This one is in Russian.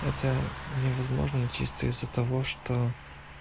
это невозможно чисто из-за того что